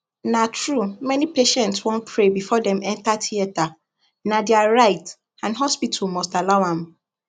na true many patients wan pray before dem enter theatrena dia right and hospital must allow am